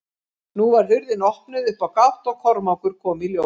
Nú var hurðin opnuð upp á gátt og Kormákur kom í ljós.